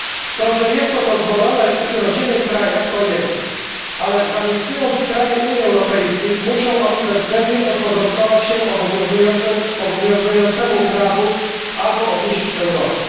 To, że jest to dozwolone w ich rodzimych krajach to jedno, ale zamieszkując w kraju Unii Europejskiej muszą oni bezwzględnie podporządkować się obowiązującemu prawu, albo opuścić Europę.